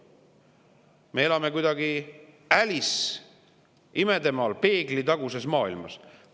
Me elame kuidagi nagu Alice imedemaal, peeglitaguses maailmas.